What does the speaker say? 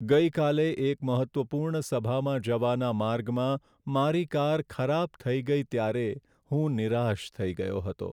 ગઈકાલે એક મહત્ત્વપૂર્ણ સભામાં જવાના માર્ગમાં મારી કાર ખરાબ થઈ ગઈ ત્યારે હું નિરાશ થઈ ગયો હતો.